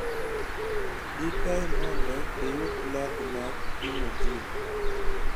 di kae mondo iyudi lad mag pimo jin